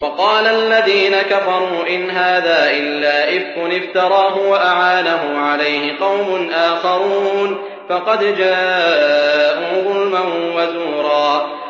وَقَالَ الَّذِينَ كَفَرُوا إِنْ هَٰذَا إِلَّا إِفْكٌ افْتَرَاهُ وَأَعَانَهُ عَلَيْهِ قَوْمٌ آخَرُونَ ۖ فَقَدْ جَاءُوا ظُلْمًا وَزُورًا